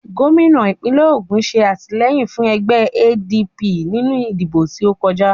Gómìnà ìpínlẹ̀ Ògùn ṣe àtìlẹ́yìn fún ẹgbẹ́ ADP nínú ìdìbò tí ókọjá